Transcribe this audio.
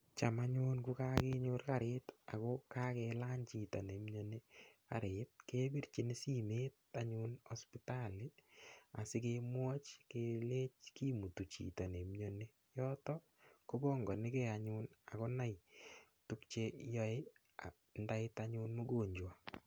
Cham anyun kokakenyor karit ako kakelany chito neimiyoni karit kepirchini simet anyun hospitali asikemwoch kelech kimutu chito neimiyoni yoto kopongonikei anyun akonai tukche yoei ndait anyun mgonjwa